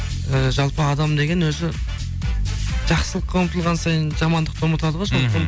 і жалпы адам деген өзі жақсылыққа ұмытылған сайын жамандықты ұмытады ғой мхм